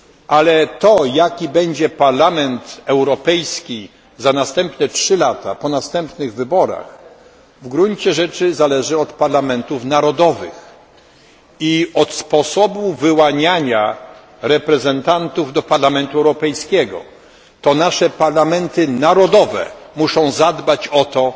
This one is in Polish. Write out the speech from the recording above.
Ale jaki będzie Parlament Europejski za następne 3 lata, po następnych wyborach, w gruncie rzeczy zależy od parlamentów narodowych i od sposobu wyłaniania reprezentantów do Parlamentu Europejskiego. To nasze parlamenty narodowe muszą zadbać o to,